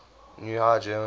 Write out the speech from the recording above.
new high german